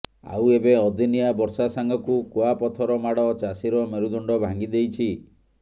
ଆଉ ଏବେ ଅଦିନିଆ ବର୍ଷା ସାଙ୍ଗକୁ କୁଆପଥର ମାଡ଼ ଚାଷୀର ମେରୁଦଣ୍ଡ ଭାଙ୍ଗି ଦେଇଛି